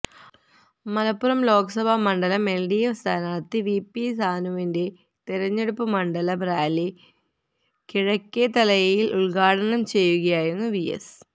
മലപ്പുറം ലോക്സഭാ മണ്ഡലം എൽഡിഎഫ് സ്ഥാനാർഥി V P സാനുവിന്റെ തെരഞ്ഞെടുപ്പ് മണ്ഡലം റാലി കിഴക്കേത്തലയിൽ ഉദ്ഘാടനംചെയ്യുകയായിരുന്നു വി എസ്